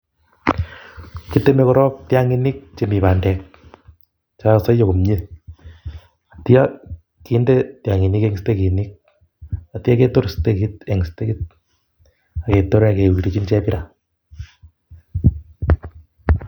Kiteme korok tiang'inik chemi bandek chekakosoiyo komye atya kebut en eut atya kinde chebira